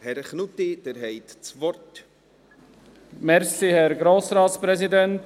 Herr Knutti, Sie haben das Wort.